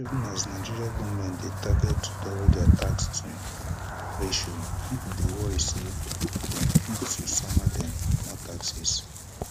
even as nigeria goment dey target to double dia tax to gdp ration pipo dey worry say dem fit to sama dem more taxes